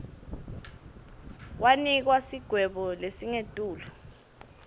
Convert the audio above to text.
wanikwa sigwebo lesingetulu